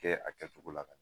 Kɛ a kɛcogo la ka